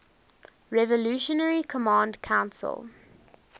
revolutionary command council